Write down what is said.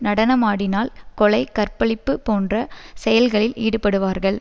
நடனமாடினால் கொலை கற்பழிப்பு போன்ற செயல்களில் ஈடுபடுவார்கள்